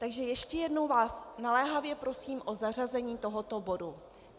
Takže ještě jednou vás naléhavě prosím o zařazení tohoto bodu.